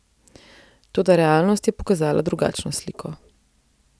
Toda realnost je pokazala drugačno sliko.